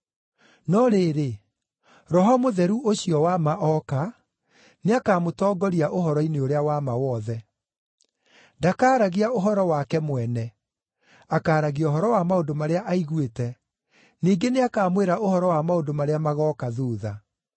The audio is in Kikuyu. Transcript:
No rĩrĩ, Roho Mũtheru ũcio wa ma oka, nĩakamũtongoria ũhoro-inĩ ũrĩa wa ma wothe. Ndakaaragia ũhoro wake mwene; akaaragia ũhoro wa maũndũ marĩa aiguĩte, ningĩ nĩakamwĩra ũhoro wa maũndũ marĩa magooka thuutha.